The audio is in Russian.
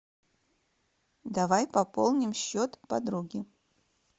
давай пополним счет подруги